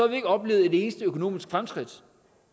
vi ikke oplevet et eneste økonomisk fremskridt